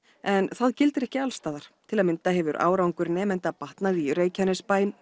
en það gildir ekki alls staðar til að mynda hefur árangur nemenda batnað í Reykjanesbæ